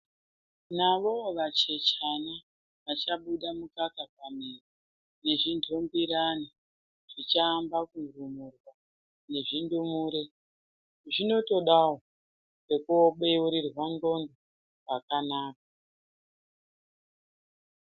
Navoovachechani vachabuda mukaka pamiro nezvinhungirana zvichamba kurumurwa nezvindumure zvinotodawo pekubeurirwa nxlondo pakanaka.